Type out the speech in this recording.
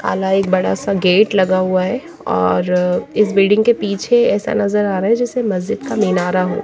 काला एक बड़ा सा गेट लगा हुआ है और इस बिल्डिंग के पीछे ऐसा नज़र आ रहा है जैसे मस्जिद का मीनारा हो --